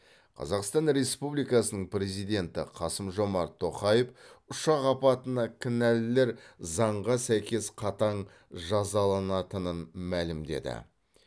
қазақстан республикасының президенті қасым жомарт тоқаев ұшақ апатына кінәлілер заңға сәйкес қатаң жазаланатынын мәлімдеді